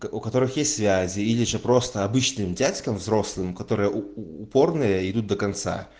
у у которых есть связи или же просто обычным дядькам взрослым которым упорные идут до конца